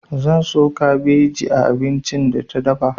Zan so kabeji a abincin da ta dafa.